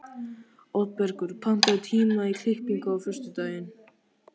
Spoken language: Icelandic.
Oddbergur, pantaðu tíma í klippingu á föstudaginn.